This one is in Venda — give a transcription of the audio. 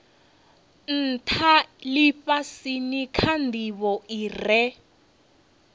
ntha lifhasini kha ndivho ire